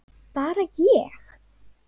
Bara ég?